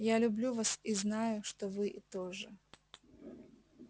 я люблю вас и я знаю что вы тоже